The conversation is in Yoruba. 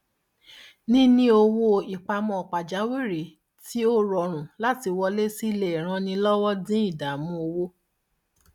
níní owó ìpamọ pajawírí tí ó rọrùn láti wọlé sí lè ran ni lọwọ dín ìdààmú owó